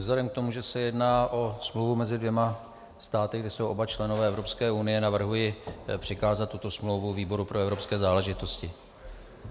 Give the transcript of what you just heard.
Vzhledem k tomu, že se jedná o smlouvu mezi dvěma státy, kde jsou oba členové Evropské unie, navrhuji přikázat tuto smlouvu výboru pro evropské záležitosti.